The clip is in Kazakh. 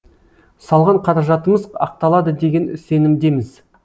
салған қаражатымыз ақталады деген сенімдеміз